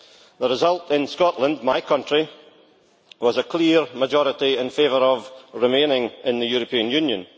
The result in Scotland, my country, was a clear majority in favour of remaining in the European Union.